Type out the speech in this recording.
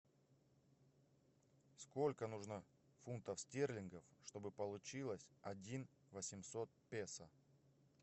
сколько нужно фунтов стерлингов чтобы получилось один восемьсот песо